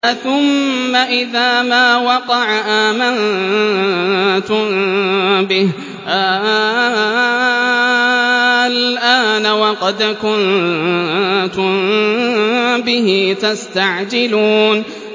أَثُمَّ إِذَا مَا وَقَعَ آمَنتُم بِهِ ۚ آلْآنَ وَقَدْ كُنتُم بِهِ تَسْتَعْجِلُونَ